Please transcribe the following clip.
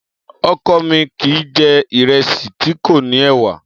Ọkọ mi kìí jẹ̀ ìrẹsì tí kò ní ẹ̀wà.